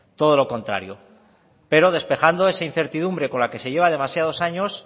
todo lo contrario pero despejando esa incertidumbre con la que se lleva demasiados años